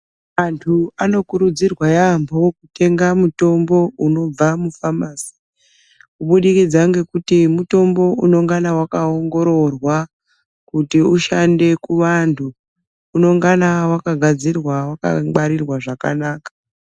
Antu anokurudzirwa yaamho kutenga mutombo unobva mufamasi kubudikidza ngekuti mutombo unongana wakaongororwa kuti ushande kuvantu unongana wakagadzirwa wakangwarirwa zvakanaka.